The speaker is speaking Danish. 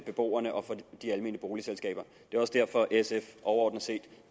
beboerne og for de almene boligselskaber det er også derfor at sf overordnet set